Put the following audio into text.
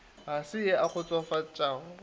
ga se ye e kgofatšago